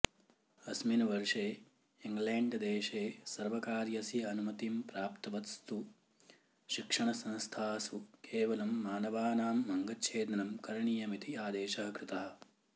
अस्मिन् वर्षे इङ्ग्लेण्ड्देशे सर्वकारस्य अनुमतिं प्राप्तवत्सु शिक्षणसंस्थासु केवलं मानवानाम् अङ्गछेदनं करणीयम् इति आदेशः कृतः